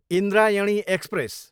Indrayani express